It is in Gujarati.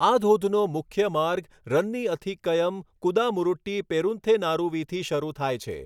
આ ધોધનો મુખ્ય માર્ગ રન્ની અથિક્કયમ કુદામુરુટ્ટી પેરુંથેનારુવીથી શરૂ થાય છે.